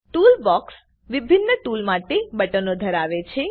toolbox વિભિન્ન tool માટે બટનો ધરાવે છે